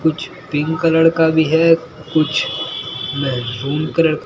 कुछ pink colour का भी है कुछ मैहरूम कलर ।